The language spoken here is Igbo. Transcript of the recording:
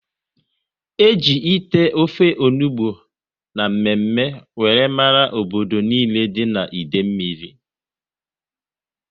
E ji ite ofe onugbu na mme mme wéré mara obodo nile dị n'Idemili